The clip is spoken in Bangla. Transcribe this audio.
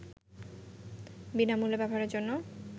বিনামূল্যে ব্যবহারের জন্যে